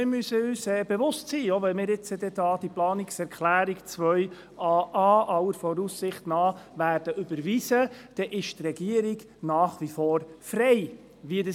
Wir müssen uns bewusst sein, dass die Regierung nach wie vor frei ist, wie sie diese umsetzt, auch wenn wir jetzt diese Planungserklärung 2a.a aller Voraussicht nach überweisen werden.